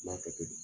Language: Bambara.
N b'a kɛ ten